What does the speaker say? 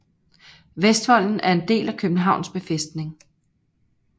Vestvolden er en del af Københavns Befæstning